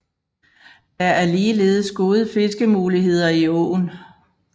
Der er ligeledes gode fiskemuligheder i åen